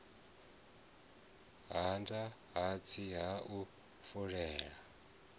hada hatsi ha u fulela